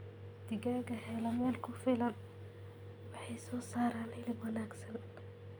Digaagga hela meel ku filan waxay soo saaraan hilib wanaagsan.